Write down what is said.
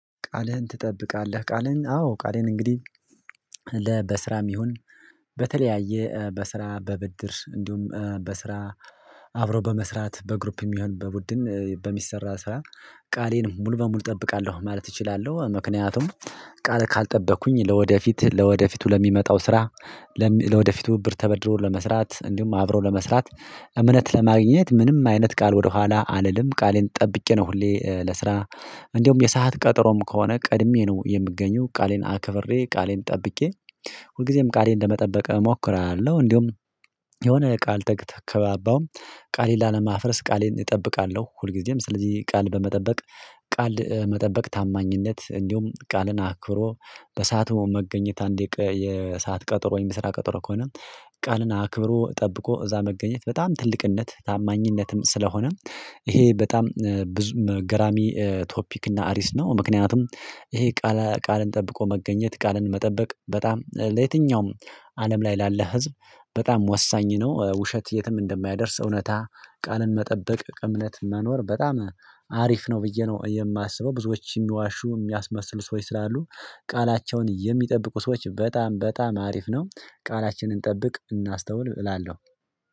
ቃልህን ትጠብቃለህ ቃልህን አዎ ቃልህን እንግዲህ ለ በስራም ይሁን በተለያየ በስራ በብድር እንዲሁም በስራ አብሮ በመስራት በግሩፕ ሚሆን በቡድን በሚሰራ ስራ ቃሌን ሙሉ በሙሉ እጠብቃለሁ ማለት እችላለሁ። ምክንያቱም ቃል ካልጠበኩኝ ለወደፊት ለወደፊቱ ለሚመጣው ስራ ለወደፊቱ ብር ተበድሮ ለመስራት እንዲሁም አብሮ ለመስራት እምነት ለማግኘት ምንም አይነት ቃል ወደኋላ አልልም ቃሌን ጠብቄ ነው። ሁሌ ለስራ እንደውም የሰዓት ቀጠሮም ከሆነ ቀድሜ ነው የምገኘው ቃሌን አከብሬ ቃሌን ጠብቄ ሁልጊዜም ቃሌን ለመጠበቅ እሞክራለሁ እንዲሁም የሆነ ቃል ተከባባውም ቃሌን ላለማፍረስ ቃሌን እጠብቃለሁ። ሁልጊዜም ስለዚህ ቃል በመጠበቅ ቃል መጠበቅ ታማኝነት እንዲሁም ቃልን አክሮ በሰአቱ መገኘት አንድ የሰዓት ቀጠሮ ወይም ስራ ቀጠሮ ከሆነ ቃልን አክብሮ ጠብቆ እዛ መገኘት በጣም ትልቅነት ታማኝነትም ስለሆነ ይሄ በጣም ብዙም ገራሚ ቶፒክ እና አሪስ ነው። ምክንያቱም ይሄ ቃል ቃልን ጠብቆ መገኘት ቃልን መጠበቅ በጣም ለየትኛውም አለም ላይ ላለ ህዝብ በጣም ወሳኝ ነው። ውሸት የትም እንደማያደርስ እውነታ ቃልን መጠበቅ እምነት መኖር በጣም አሪፍ ነው ብዬ ነው የማስበው ብዙዎች የሚዋሹ የሚያስመስሉ ሰዎች ስላሉ ቃላቸውን የሚጠብቁ ሰዎች በጣም በጣም አሪፍ ነው። ቃላችንን እንጠብቅ እናስተውል እላለሁ።